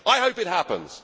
I hope it happens.